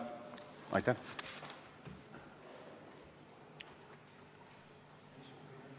Tänane istung on lõppenud.